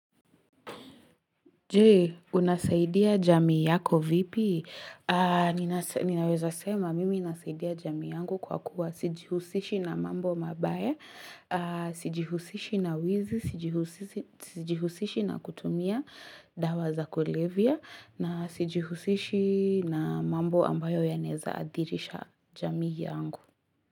Je, unasaidia jami yako vipi? Ninaweza sema, mimi nasaidia jamii yangu kwa kuwa sijihusishi na mambo mabaya, sijihusishi na wizi, sijihusishi na kutumia dawa za kulevya, na sijihusishi na mambo ambayo yanaeza adhirisha jamii yangu.